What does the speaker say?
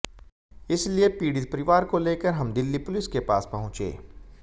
इसलिए पीड़ित परिवार को लेकर हम दिल्ली पुलिस के पास पहुंचे